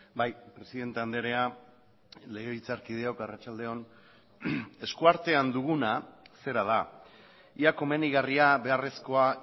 bai presidente andrea legebiltzarkideok arratsaldeon esku artean duguna zera da ia komenigarria beharrezkoa